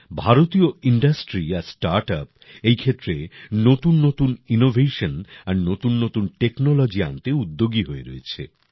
ভারতীয় ইণ্ডাস্ট্রি আর স্টার্টআপ এই ক্ষেত্রে নতুননতুন ইনোভেশন আর নতুননতুন টেকনোলজি আনতে উদ্যোগী হয়ে রয়েছে